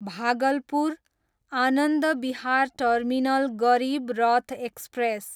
Bhagalpur, Anand Vihar terminal Garib Rath express